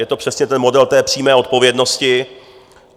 Je to přesně ten model té přímé odpovědnosti.